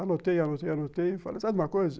Anotei, anotei, anotei e falei, sabe de uma coisa?